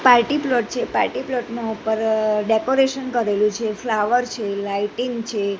Party plot છે party plot ની ઉપર ડેકોરેશન કરેલુ છે ફ્લાવર છે લાઇટીંગ છે.